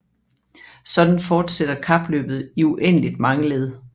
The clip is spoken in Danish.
Sådan fortsætter kapløbet i uendeligt mange led